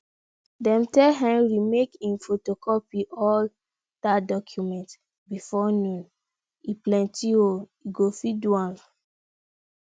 dem tell henry make im photocopy all dat documents before noon e plenty oo e go fit do am